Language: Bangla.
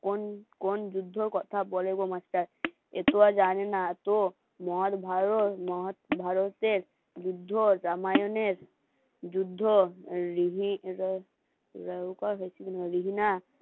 কোন কোন যুদ্ধর কথা বলে গো মাস্টার এ তো আর জানে না তো মহৎ, ভারত, যুদ্ধ, রামায়ণের যুদ্ধ